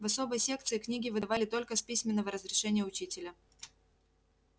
в особой секции книги выдавали только с письменного разрешения учителя